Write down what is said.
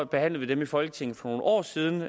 behandlede vi i folketinget for nogle år siden